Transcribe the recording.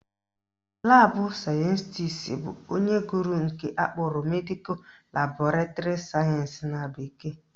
Laabụ sayentisi bụ onye gụrụ nke akpọrọ Medical Laboratory Science na bekee